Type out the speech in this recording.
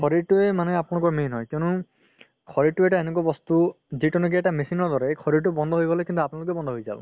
শৰিৰতোয়ে আপোনালোকৰ main হয় কিয়নো শৰিৰতো এটা এনেকুৱা বস্তু যিতো নেকি এটা machine ৰ দৰে এই শৰিৰতো বন্ধ হয় গ'লে কিন্তু আপোনালোকেও বন্ধ হয় যাব